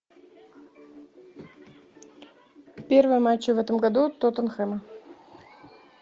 первые матчи в этом году тоттенхэма